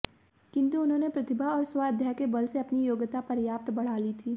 किंतु उन्होंने प्रतिभा और स्वाध्याय के बल से अपनी योग्यता पर्याप्त बढ़ा ली थी